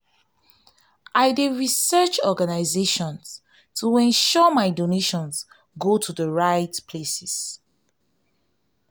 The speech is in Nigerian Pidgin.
i dey research organizations to ensure my donations go to the right places.